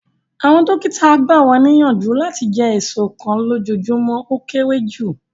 Awọn dokita gba wa niyanju lati jẹ eso kan lojoojumọ o kere ju